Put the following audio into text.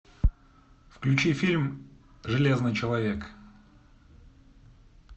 включи фильм железный человек